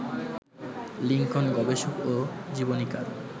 Lincoln গবেষক ও জীবনীকার